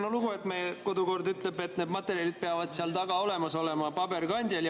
Vaat nüüd on niisugune lugu, et meie kodukord ütleb, et need materjalid peavad seal taga olemas olema paberkandjal.